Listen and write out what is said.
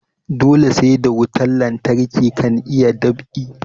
Dole sai da wutan lantarki kan a iya dab'i